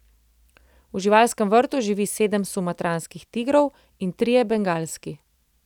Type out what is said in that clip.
V živalskem vrtu živi sedem sumatranskih tigrov in trije bengalski.